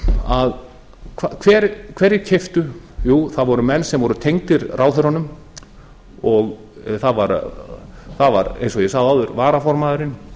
að hverjir keyptu jú það voru menn sem voru tengdir ráðherranum það var eins og ég sagði áður varaformaðurinn